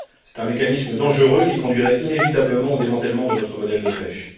C'est un mécanisme dangereux qui conduirait inévitablement au démantèlement de notre modèle de pêche.